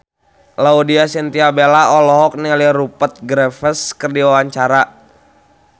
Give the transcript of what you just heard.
Laudya Chintya Bella olohok ningali Rupert Graves keur diwawancara